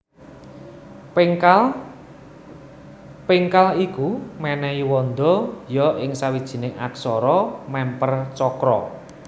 Péngkal iku mènèhi wanda ya ing sawijining aksara mèmper cakra